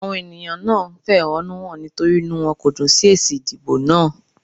Àwọn ènìyàn náà ń fẹ̀họ́núhàn nítorí inú wọn kò dùn sí èsì ìdìbò náà.